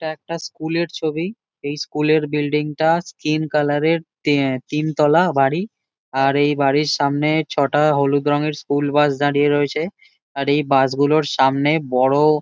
এটা একটা স্কুল -এর ছবি। এই স্কুল -এর বিল্ডিংটা স্কিন কালার -এর তে তিন তলা বাড়ি। আর এই বাড়ির সামনে ছটা হলুদ রঙের স্কুল বাস দাঁড়িয়ে রয়েছে। আর এই বাস গুলোর সামনে বড়ো--